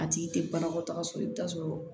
A tigi tɛ banakɔtaga sɔrɔ i bɛ taa sɔrɔ